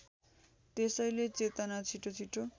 त्यसैले चेतना छिटोछिटो